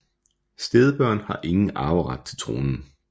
Stedbørn har ingen arveret til tronen